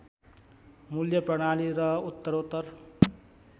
मूल्य प्रणाली र उत्तरोत्तर